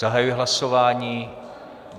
Zahajuji hlasování.